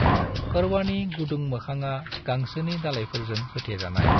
करवानि गुदुं मोखाङा गांसोनि दालायफोरजों होथे जानाय।